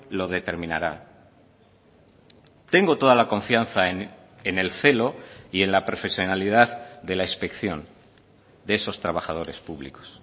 lo determinará tengo toda la confianza en el celo y en la profesionalidad de la inspección de esos trabajadores públicos